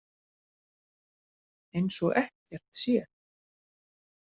Eins og ekkert sé!